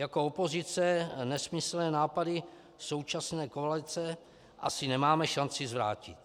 Jako opozice nesmyslné nápady současné koalice asi nemáme šanci zvrátit.